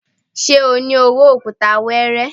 Ṣé o ní owó òkúta weere?